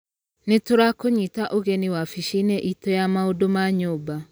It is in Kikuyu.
Nĩ tũrakũnyita ũgeni wabici-inĩ itũ ya maũndũ ma nyũmba.